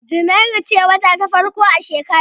Junairu ce wata ta farko a shekara.